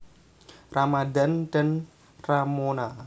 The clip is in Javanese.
Ramadhan dan Ramona